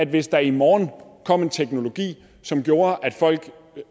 hvis der i morgen kom en teknologi som gjorde at folk